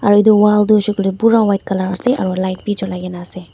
aro eto wall toh hoishi koile pura white colour ase aro light be chulai kina ase.